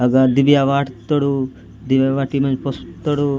अगा दिव्या वाट तडू दिव्य बाटी मा पोसु तडू।